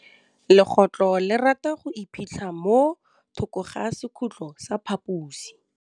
Legôtlô le rata go iphitlha mo thokô ga sekhutlo sa phaposi.